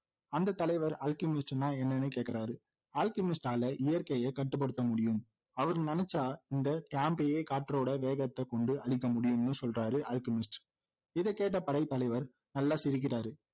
அந்த தலைவர் alchemist னா என்னன்னு கேக்குறாரு alchemist ஆல இயற்கையை கட்டுப்படுத்தமுடியும் அவர் நினைச்சா இந்த camp ஐயே காற்றோட வேகத்தை கொண்டு அழிக்க முடியும்னு சொல்றாரு அல்கெமிஸ்ட் இதை கேட்ட படைத்தலைவர் நல்லா சிரிக்கிறாரு